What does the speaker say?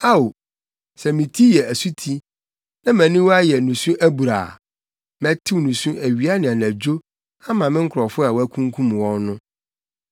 Ao, sɛ me ti yɛ asuti, na mʼaniwa yɛ nusu abura a! Mɛtew nusu awia ne anadwo ama me nkurɔfo a wɔakunkum wɔn no.